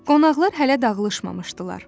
Qonaqlar hələ dağılışmamışdılar.